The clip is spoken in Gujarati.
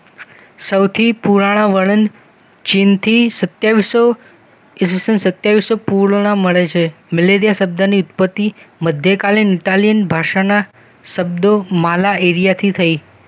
સૌથી પુરાણો વર્ણન ચીનથી સતયાવીસસૌ ઈસવીસન સત્તાવીસસૌ પૂર્ણ મળે છે મેલેરિયા શબ્દની ઊપરથી મધ્યકાલીન ઇટાલિયન ભાષાના શબ્દો માલા એરિયાથી થઈ